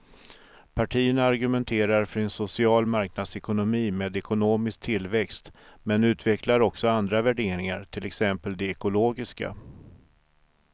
Partierna argumenterar för en social marknadsekonomi med ekonomisk tillväxt men utvecklar också andra värderingar, till exempel de ekologiska.